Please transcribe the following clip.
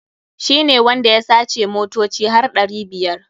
Shi ne wanda ya sace motoci har ɗari biyar.